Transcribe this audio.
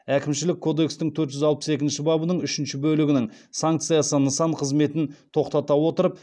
әкімшілік кодекстің төрт жүз алпыс екінші бабының үшінші бөлігінің санкциясы нысан қызметін тоқтата отырып